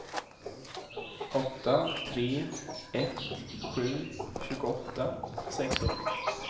åtta tre ett sju tjugoåtta sexhundra